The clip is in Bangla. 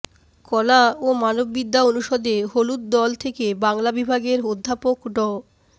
কলা ও মানববিদ্যা অনুষদে হলুদ দল থেকে বাংলা বিভাগের অধ্যাপক ড